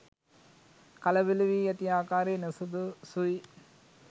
කලබල වී ඇති ආකාරය නුසුදුසුයි.